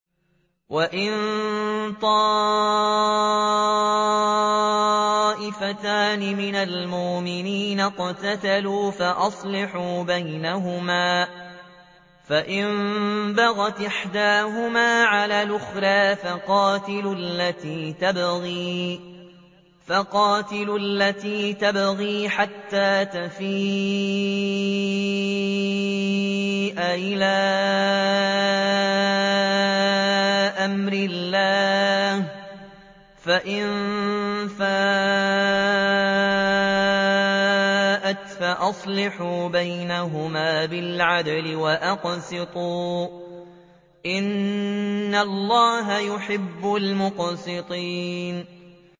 وَإِن طَائِفَتَانِ مِنَ الْمُؤْمِنِينَ اقْتَتَلُوا فَأَصْلِحُوا بَيْنَهُمَا ۖ فَإِن بَغَتْ إِحْدَاهُمَا عَلَى الْأُخْرَىٰ فَقَاتِلُوا الَّتِي تَبْغِي حَتَّىٰ تَفِيءَ إِلَىٰ أَمْرِ اللَّهِ ۚ فَإِن فَاءَتْ فَأَصْلِحُوا بَيْنَهُمَا بِالْعَدْلِ وَأَقْسِطُوا ۖ إِنَّ اللَّهَ يُحِبُّ الْمُقْسِطِينَ